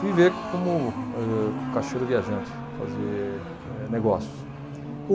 Viver como eh, caixeiro viajante, fazer eh negócios.